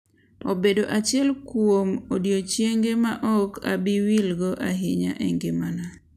Obedo achiel kuom odiochienge ma ok abi wilgo ahinya e ngimana.